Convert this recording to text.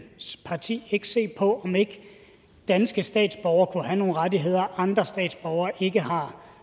parti ikke se på om ikke danske statsborgere kunne have nogle rettigheder andre statsborgere ikke har